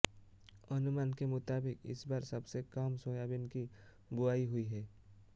अनुमान के मुताबिक इस बार सबसे कम सोयाबीन की बुआई हुई है